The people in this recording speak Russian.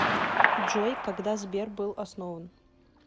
джой когда сбер был основан